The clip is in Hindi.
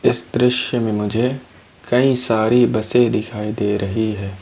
इस दृश्य में मुझे कई सारे बसे दिखाई दे रही हैं।